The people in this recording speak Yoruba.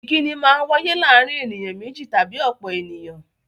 Ìkínni Maa ń wáyé láàárín ènìyàn méjì tàbí ọ̀pọ̀ ènìyàn